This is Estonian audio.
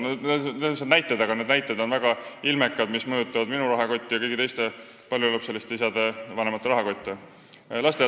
Need on lihtsad, aga väga ilmekad näited, sest need mõjutavad minu rahakotti ja ka kõigi teiste paljulapseliste vanemate rahakotte.